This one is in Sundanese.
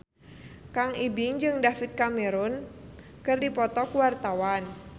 Kang Ibing jeung David Cameron keur dipoto ku wartawan